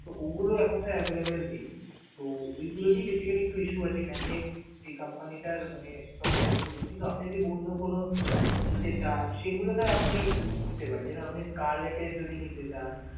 তো ওগুলো sir available নেই. তো ওইগুলোর একটু basically issue আছে, many এক, যে company টার মানে সব যেহেতু নেই, কিন্তু আপনি যে, অন্যকোনো নিতে চান সেগুলো sir আপনে নিতে পারেন. যেরম আপনি collect এর নিতে চান.